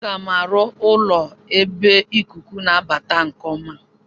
Aga m arụ ụlọ n'ebe ikuku na-abata nke ọma.